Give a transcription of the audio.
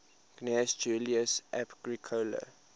gnaeus julius agricola